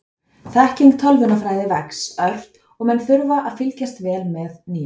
þekking í tölvunarfræði vex ört og menn þurfa að fylgjast vel með nýjungum